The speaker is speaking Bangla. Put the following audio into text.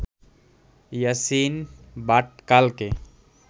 ইয়াসিন ভাটকালকে